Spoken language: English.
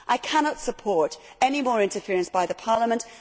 I cannot support any more interference by Parliament.